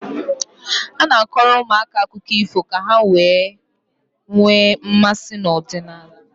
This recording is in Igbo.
A na-akọrọ ụmụaka akụkọ ifọ ka ha wee nwee mmasị n'ọdịnala.